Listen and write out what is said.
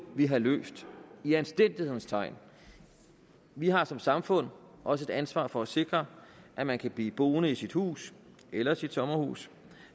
vi have løst i anstændighedens tegn vi har som samfund også et ansvar for at sikre at man kan blive boende i sit hus eller sit sommerhus